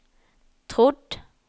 trodd